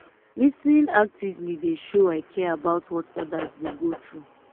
lis ten ing actively dey show i care about what others dey go through.